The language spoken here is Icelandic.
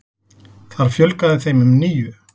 Þar fjölgaði þeim um níu.